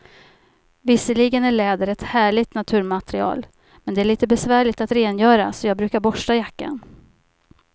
Visserligen är läder ett härligt naturmaterial, men det är lite besvärligt att rengöra, så jag brukar borsta jackan.